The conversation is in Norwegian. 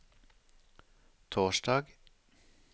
torsdag